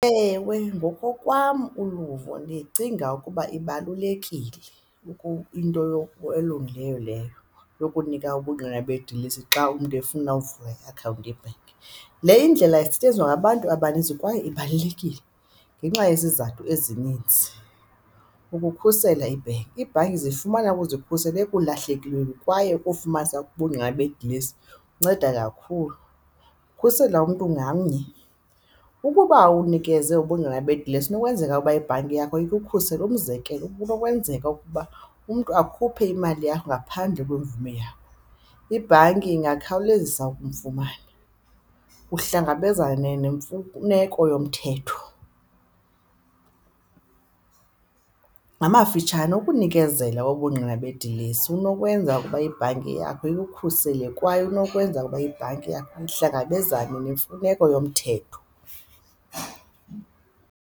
Ewe, ngokokwam uluvo ndicinga ukuba ibalulekile into elungileyo leyo, yokunika ubungqina bedilesi xa umntu efuna ukuvula iakhawunti ye-bank. Le indlela isetyenziswa ngabantu abaninzi kwaye ibalulekile ngenxa yezizathu ezininzi, ukukhusela ibhenki. Iibhanki zifumana ukuzikhusela ekulahlekelweni kwaye ukufumanisa ubungqina bedilesi kunceda kakhulu, ukukhusela umntu ngamnye. Ukuba unikeze ubungqina bedilesi kunokwenzeka ukuba ibhanki yakho ikukhusela. Umzekelo, kunokwenzeka ukuba umntu akhuphe imali yakho ngaphandle kwemvume yakho, ibhanki ingakhawulezisa ukumfumana uhlangabezane neemfuneko yomthetho. Ngamafitshane ukunikezela ubungqina bedilesi kunokwenza ukuba ibhanki yakho ikukhusele kwaye inokwenza ukuba ibhanki yakho ihlangabezane nemfuneko yomthetho.